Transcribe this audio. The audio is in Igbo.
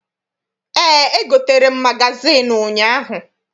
Eé, egotere m magazịịnụ ụnyaahụ